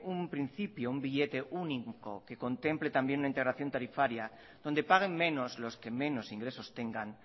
un principio un billete único que contemple también una integración tarifaria donde paguen menos los que menos ingresos tengan